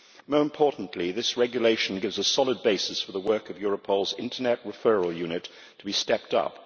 More importantly, this regulation gives a solid basis for the work of Europol's Internet Referral Unit to be stepped up.